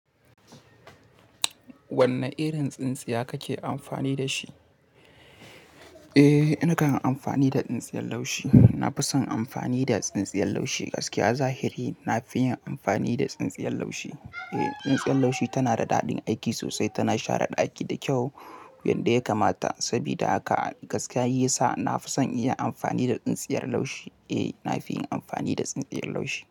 Wanne irin tsintsiya kake amfani da shi? Eh, na kan amfani da tsintsiyar laushi. Na fi son amfani da tsintsiyar laushi. Gaskiya zahiri, na fi yin amfani da tsintsiyar laushi. Eh, tsintsiyar laushi tana da daɗin aiki sosai, tana share ɗaki da kyau yadda ya kamata. Saboda haka gaskiya shiyasa, na fi son inyi amfani da tsintsiyar laushi. Eh, na fi yin amfani da tsintsiyar laushi.